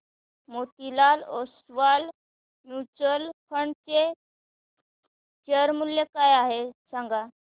Motilal Oswal mutual fund चे share मूल्य काय आहे सांगा